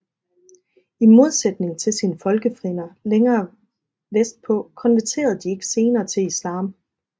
I modsætning til sine folkefrænder længere vest på konverterede de ikke senere til islam